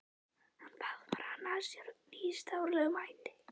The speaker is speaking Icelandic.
Hann faðmar hana að sér með nýstárlegum hætti.